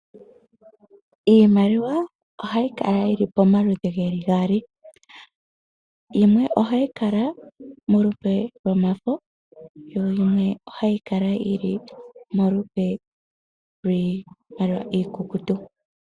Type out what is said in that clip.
Iimaliwa ohayi kala yili pomagaali yimwe ohayi kala yili polupe lwomafo nayimwe ohayi kala yili polupe lwiikukutu.